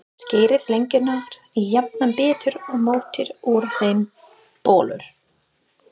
Skerið lengjurnar í jafna bita og mótið úr þeim bollur.